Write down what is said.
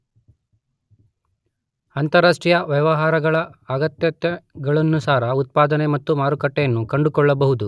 ಅಂತರಾಷ್ಟ್ರೀಯ ವ್ಯವಹಾರಗಳ ಅಗತ್ಯತೆಗಳನುಸಾರ ಉತ್ಪಾದನೆ ಮತ್ತು ಮಾರುಕಟ್ಟೆಗಳನ್ನು ಕಂಡುಕೊಳ್ಳಬಹುದು.